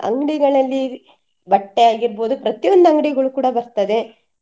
ಅಂಗ್ಡಿಗಳಲ್ಲಿ ಬಟ್ಟೆ ಆಗಿರ್ಬೋದು ಪ್ರತಿಯೊಂದು ಅಂಗ್ಡಿಗಳು ಕೂಡ ಬರ್ತದೆ.